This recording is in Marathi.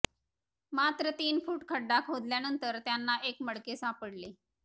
मात्र तीन फूट खड्डा खोदल्यानंतर त्यांना एक मडके सापडले